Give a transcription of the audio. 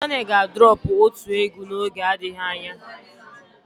Kizz Daniel ga droọpu otu egwu n'oge adịghị anya.